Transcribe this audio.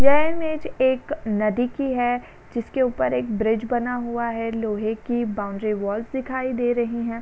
यह इमेज एक नदी की है। जिसके ऊपर एक ब्रिज बना हुआ है। लोहे की बाउंड्री वाल्स दिखाई दे रही हैं।